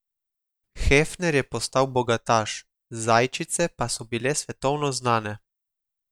Hefner je postal bogataš, zajčice pa so bile svetovno znane.